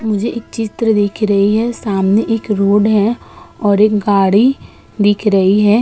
मुझे एक चित्र दिख रही है सामने रोड है और एक गाड़ी दिख रही है।